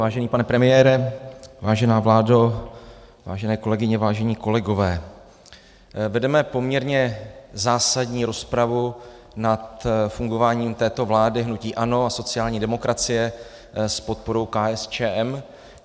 Vážený pane premiére, vážená vládo, vážené kolegyně, vážení kolegové, vedeme poměrně zásadní rozpravu nad fungováním této vlády hnutí ANO a sociální demokracie s podporou KSČM.